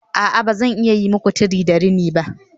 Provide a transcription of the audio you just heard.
A'a ba zan iya yi muku tire da rini ba